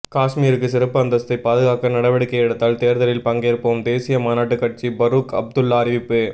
காஷ்மீருக்கு சிறப்பு அந்தஸ்தை பாதுகாக்க நடவடிக்கை எடுத்தால் தேர்தலில் பங்கேற்போம் தேசிய மாநாட்டு கட்சி பரூக் அப்துல்லா அறிவிப்பு